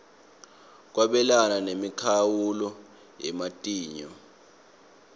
kwabelana nemikhawulo yematinyo